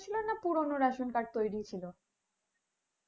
না পুরনো ration card তৈরি ছিল?